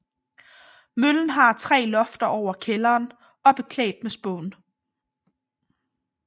Møllen har tre lofter over kælderen og er beklædt med spån